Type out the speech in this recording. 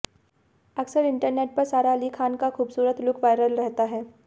अक्सर इंटरनेट पर सारा अली खान का खूबसूरत लुक वायरल रहता हैं